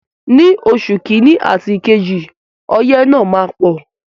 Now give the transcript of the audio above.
Ní oṣù kiní àti kejì ọyẹ́ náà máa pọ̀.